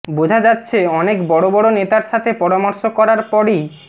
বোঝা যাচ্ছে অনেক বড় বড় নেতার সাথে পরামর্শ করার পরই